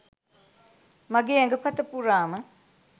මගේ ඇඟපත පුරාම